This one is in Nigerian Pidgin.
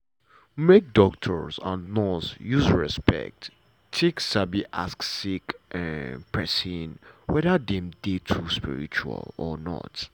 make doctor and nurse use respect take um ask sick um pesin wether dem dey um spiritual or not.